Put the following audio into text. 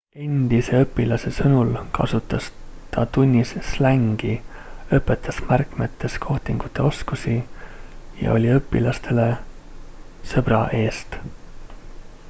endise õpilase sõnul kasutas ta tunnis slängi õpetas märkmetes kohtingute oskusi ja oli õpilastele sõbra eest